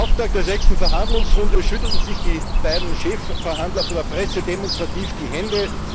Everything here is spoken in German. Zum Auftakt der sechsten Verhandlungsrunde schütteln sich die beiden Chefverhandler vor der Presse demonstrativ die Hände.